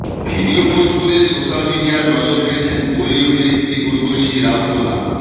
video post social সোশ্যাল মিডিয়ার নজর কেড়েছেন বলি অভিনেত্রী উর্বশী রাউতোলা